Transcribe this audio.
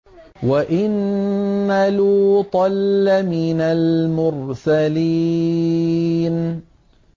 وَإِنَّ لُوطًا لَّمِنَ الْمُرْسَلِينَ